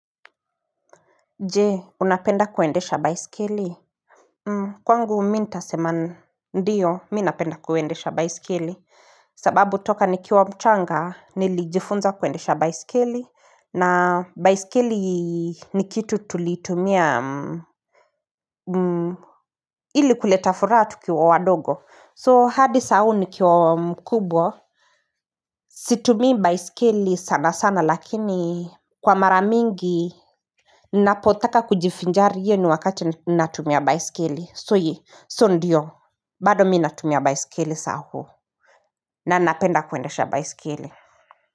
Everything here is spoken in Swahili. Je unapenda kuendesha baiskeli? Kwangu mii ntasema ndio mii napenda kuendesha baiskeli sababu toka nikiwa mchanga nilijifunza kuendesha baiskeli na baiskeli ni kitu tulitumia ili kuleta furaha tukiwa wadogo so hadi saa hii nikiwa mkubwa Situmii baiskeli sana sana lakini kwa mara mingi Napotaka kujifinjari hiyo ni wakati natumia baiskeli so ndiyo bado mii natumia baiskeli saa huu na napenda kuendesha baiskeli.